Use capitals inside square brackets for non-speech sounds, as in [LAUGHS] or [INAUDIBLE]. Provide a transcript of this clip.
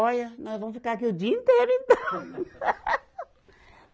Olha, nós vamos ficar aqui o dia inteiro então. [LAUGHS]